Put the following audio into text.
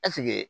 Ɛseke